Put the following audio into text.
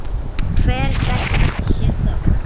Hvers vegna þessi þögn?